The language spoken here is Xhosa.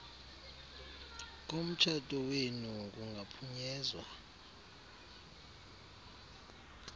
komtshato wenu kungaphunyezwa